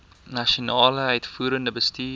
nasionale uitvoerende bestuur